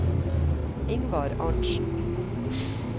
Ingvar Arntsen